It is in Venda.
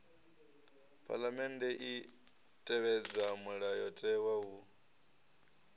phaḽamennde i tevhedza mulayotewa hu